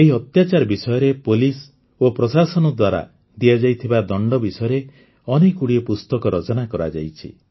ଏହି ଅତ୍ୟାଚାର ବିଷୟରେ ପୁଲିସ୍ ଓ ପ୍ରଶାସନ ଦ୍ୱାରା ଦିଆଯାଇଥିବା ଦଣ୍ଡ ବିଷୟରେ ଅନେକଗୁଡ଼ିଏ ପୁସ୍ତକ ରଚନା କରାଯାଇଛି